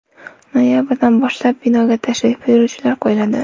Noyabrdan boshlab binoga tashrif buyuruvchilar qo‘yiladi.